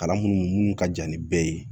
Kalan minnu ka jan ni bɛɛ ye